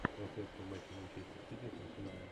трансляция матча манчестер сити с арсеналом